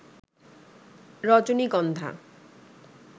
রজনীগন্ধা